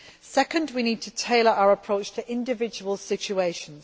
Second, we need to tailor our approach to individual situations.